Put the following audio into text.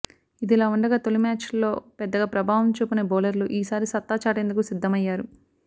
ఇదిలావుండగా తొలి మ్యాచ్లో పెద్దగా ప్రభావం చూపని బౌలర్లు ఈసారి సత్తా చాటేందుకు సిద్ధమయ్యారు